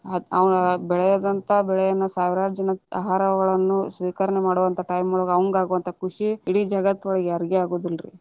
ಅವ್ನ ಬೆಳೆದಂತ ಬೆಳೆಯನ್ನ ಸಾವಿರಾರ ಜನಾ ಆಹಾರವನ್ನು ಸ್ವೀಕರಣೆ ಮಾಡುವಂತ time ಒಳಗ ಅವಂಗ ಆಗುವಂತ ಖುಷಿ, ಇಡಿ ಜಗತ್ತ ಒಳಗ ಯಾರಿಗು ಆಗುದಿಲ್ಲಾರೀ.